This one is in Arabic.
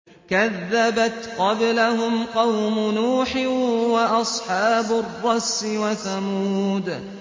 كَذَّبَتْ قَبْلَهُمْ قَوْمُ نُوحٍ وَأَصْحَابُ الرَّسِّ وَثَمُودُ